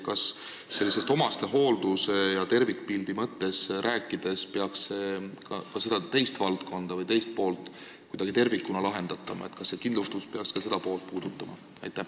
Kas omastehooldusest tervikpildi mõttes rääkides peaks ka seda teist poolt kuidagi tervikuna vaatama, kas see kindlustus peaks ka seda poolt puudutama?